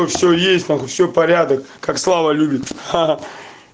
но все есть нахуй все порядок как слава любит ха-ха